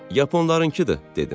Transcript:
"Yaponlarınkıdır," dedim.